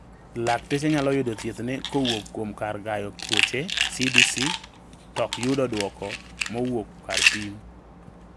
Lakteche nyalo yudo thiethne kowuok kuom kar gayo tuoche(CDC) tok yudo duoko mowuok kar pim.